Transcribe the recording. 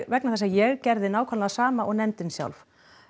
vegna þess að ég gerði nákvæmlega það sama og nefndin sjálf